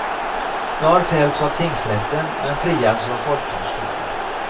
Jag har fällts av tingsrätten, men friats av folkdomstolen.